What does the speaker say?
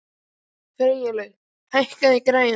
Freylaug, hækkaðu í græjunum.